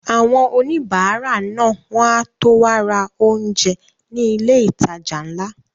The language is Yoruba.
Àwọn òníbárà náà wọ́n á tó wá ra oúnjẹ ní ilé ìtajà ńlá